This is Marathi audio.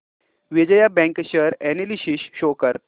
Vijaya bank share analysis show कर